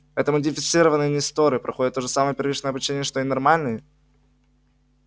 это модифицированные несторы проходят то же самое первичное обучение что и нормальные